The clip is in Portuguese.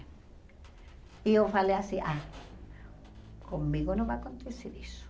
E eu falei assim, ah, comigo não vai acontecer isso.